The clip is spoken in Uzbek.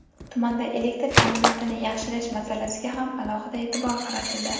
Tumanda elektr ta’minotini yaxshilash masalasiga ham alohida e’tibor qaratildi.